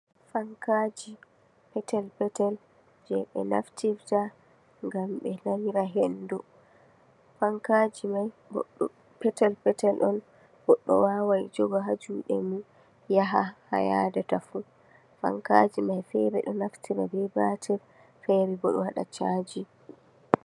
Fankaji peetel peetel jeɓe naftirta ngam ɓe nanira hendu, fankaji mai goɗɗo, peetel peetel on goɗɗo wawan joga ha juɗe mun yaha ha yadata fuu, fankaji mai feere ɗon naftira bee batir feere bo ɗon waɗa caaji.